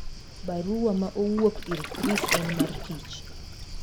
Baruwa ma owuok ir chris en mar tich.